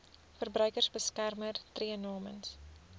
verbruikersbeskermer tree namens